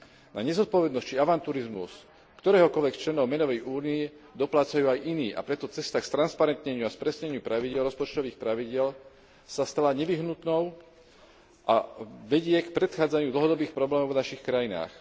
Na nezodpovednosť či avanturizmus ktoréhokoľvek členov menovej únie doplácajú aj iní, a preto cesta k stransparentneniu a k spresneniu pravidiel rozpočtových pravidiel sa stala nevyhnutnou a vedie k predchádzaniu dlhodobých problémov v našich krajinách.